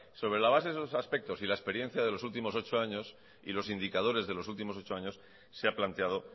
sobre la base de esos aspectos y la experiencia de los últimos ocho años y los indicadores de los últimos ocho años se ha planteado